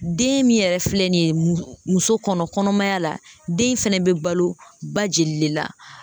Den min yɛrɛ filɛ nin ye muso kɔnɔ kɔnɔmaya la den fɛnɛ bɛ balo ba joli de la